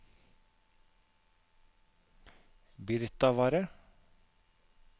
Birtavarre